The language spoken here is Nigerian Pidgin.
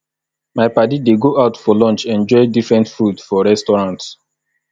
my paddy dey go out for lunch enjoy different food for restaurant